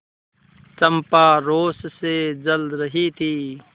चंपा रोष से जल रही थी